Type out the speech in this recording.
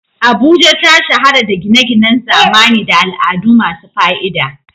Abuja ta shahara da gine-ginen zamani da al'adu masu fa'ida.